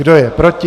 Kdo je proti?